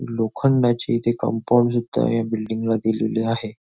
लोखंडाची इथे कंपाऊंड जिथे आहे ह्या बिल्डिंग ला दिलेली आहे.